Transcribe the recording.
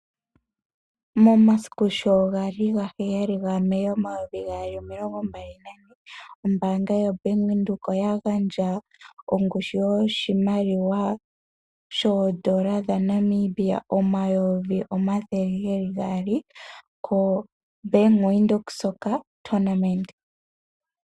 Momasiku sho gali 07 May 2024, ombaanga yoBank Windhoek oya gandja ongushu yoshimaliwa N$200000 koBank Windhoek soccer tournament.